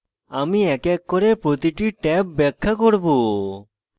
আমি এক এক করে প্রতিটি ট্যাব ব্যাখ্যা করব